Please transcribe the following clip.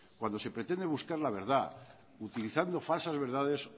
cuando se pretende buscar la verdad utilizando falsas verdades